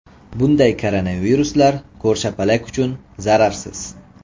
Bunday koronaviruslar ko‘rshapalak uchun zararsiz.